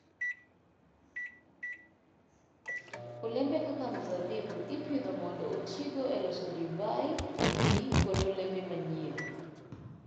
Olembe kaka mzabibu ipidho mondo otigo e loso divai, pi, kod olembe manyien.